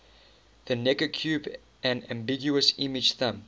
the necker cube an ambiguous image thumb